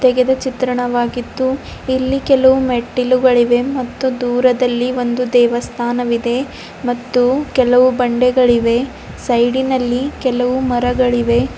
ತೆಗೆದ ಚಿತ್ರಣವಾಗಿದ್ದು ಇಲ್ಲಿ ಕೆಲವು ಮೆಟ್ಟಿಲುಗಳಿವೆ ಮತ್ತು ದೂರದಲ್ಲಿ ಒಂದು ದೇವಸ್ಥಾನ ಇದೆ ಮತ್ತು ಕೆಲವು ಬಂಡೆಗಳಿವೆ ಸೈಡಿನಲ್ಲಿ ಕೆಲವು ಮರಗಳಿವೆ.